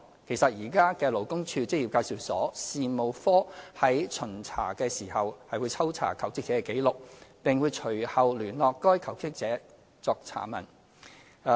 其實，現時勞工處職業介紹所事務科在巡查時，是會抽查求職者的紀錄，並會隨後聯絡該求職者作查問。